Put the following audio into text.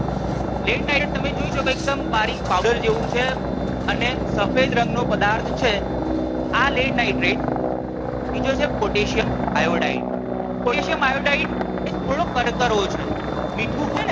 lead nitrate તમે જોઈ શકો એકદમ બારીક પાવડર જેવુ છે અને સફેદ રંગનો પદાર્થ છે. આ lead nitrate બીજો છે potassium iodide potassium iodide એ થોડો કરકરો છે મીઠું હોય ને